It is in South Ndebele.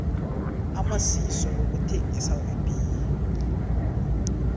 amasiso wokuthengisa webee